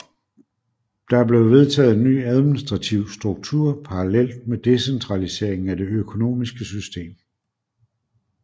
Der blev vedtaget en ny administrativ struktur parallelt med decentraliseringen af det økonomiske system